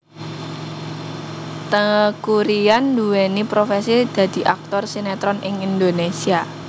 Teuku Ryan nduwéni profesi dadi aktor sinetron ing Indonésia